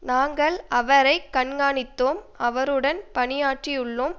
நாங்கள் அவரை கண்காணித்தோம் அவருடன் பணியாற்றியுள்ளோம்